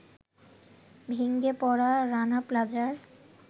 ভেঙে পড়া রানা প্লাজার